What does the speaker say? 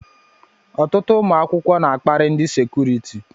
Ọtụtụ ụmụ akwụkwọ n'akpari ndị sekuriti.